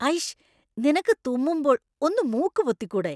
അയ്ഷ്!! നിനക്ക് തുമ്മുമ്പോൾ ഒന്ന് മൂക്ക് പൊത്തിക്കൂടെ?